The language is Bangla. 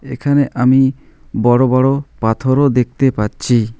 এখানে আমি বড় বড় পাথরও দেখতে পাচ্ছি।